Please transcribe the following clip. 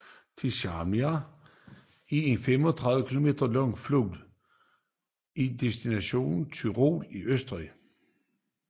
Trisanna er en 35 km lang flod i delstaten Tyrol i Østrig